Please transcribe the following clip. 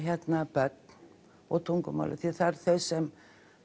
börn og tungumálið því það eru þau sem